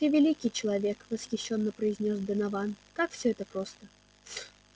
ты великий человек восхищённо произнёс донован как всё это просто